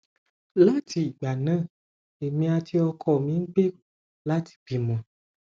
láti ìgbà náà èmi àti ọkọ mi ń gbèrò láti bímọ